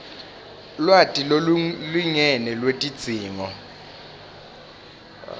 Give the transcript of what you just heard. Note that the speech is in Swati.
lwati lolulingene lwetidzingo